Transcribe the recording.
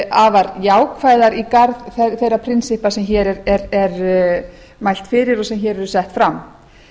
afar jákvæðar í garð þeirra prinsippa sem hér mælt fyrir og sem hér eru sett fram